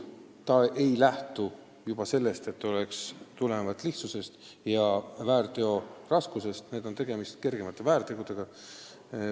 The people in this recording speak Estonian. Nende juhtumite puhul on tegemist kergemate väärtegudega.